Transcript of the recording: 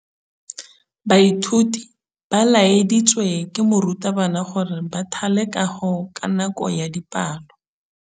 Baithuti ba laeditswe ke morutabana gore ba thale kagô ka nako ya dipalô.